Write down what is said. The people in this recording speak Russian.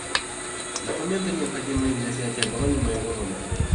документы необходимые для снятия брони моего номера